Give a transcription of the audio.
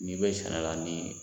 N'i bɛ sɛnɛ na ni